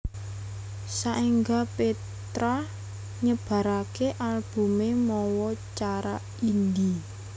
Saéngga Petra nyebaraké albumé mawa cara indie